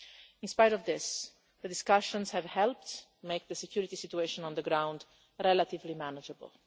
In spite of this, the discussions have helped make the security situation on the ground relatively manageable.